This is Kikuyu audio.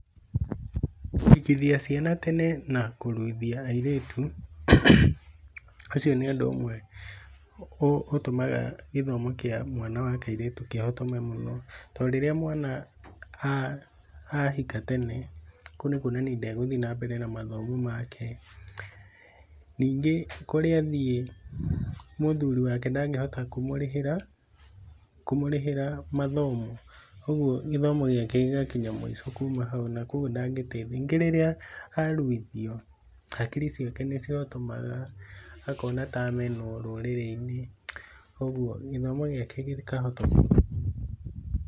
kũhikithia ciana tene na kũruithia airĩtu, ũcio nĩ ũndũ ũmwe ũtũmaga gĩthomo kĩa mwana wa kairĩtu kĩhotome mũno. Torĩrĩa mwana ahika tene, kũu nĩkwonania ndagũthiĩ na mbere na mathomo make. Ningĩ kũrĩa athiĩ, mũthuri wake ndangĩhota kũmũrĩhĩra, kũmũrĩhĩra gĩthomo. Kogwo gĩthomo gĩake gĩgakinya mũico kuma hau na kogwo ndangĩteithia. Ningĩ rĩrĩa aruithio hakiri ciake nĩcihotomaga, akona ta amenwo rũrĩrĩ-inĩ. Kogwo gĩthomo gĩake gĩkahotomio.